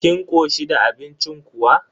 Kin koshi da abincin kuwa?